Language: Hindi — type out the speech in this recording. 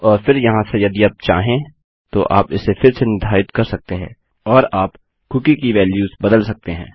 और फिर यहाँ से यदि आप चाहें तो आप इसे फिर से निर्धारित कर सकते हैं और आप कूकी की वेल्युस बदल सकते हैं